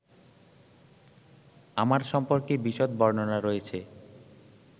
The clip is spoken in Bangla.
আমার সম্পর্কে বিশদ বর্ণনা রয়েছে